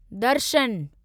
दर्शन